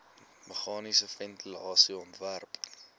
meganiese ventilasie ontwerp